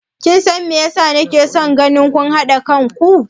Kin san me yasa na ke so naga kun haɗa kan ku?